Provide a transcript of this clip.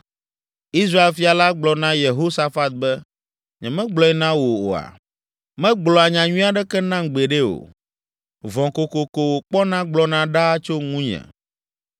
Israel fia la gblɔ na Yehosafat be, “Nyemegblɔe na wò oa? Megblɔa nyanyui aɖeke nam gbeɖe o. Vɔ̃ kokoko wòkpɔna gblɔna ɖaa tso ŋunye.”